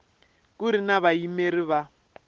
ku ri na vayimeri va